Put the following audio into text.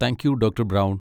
Thank you doctor brown.